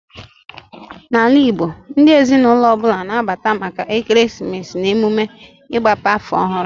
Na ala Igbo, ndị ezinụlọ ọbụla na abata maka ekeresimesi na emume ịgbape afọ ọhụrụ